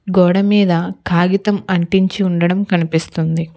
గోడమీద కాగితం అంటించి ఉండడం కనిపిస్తుంది.